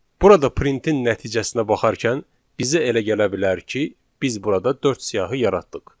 Burada printin nəticəsinə baxarkən bizə elə gələ bilər ki, biz burada dörd siyahı yaratdıq.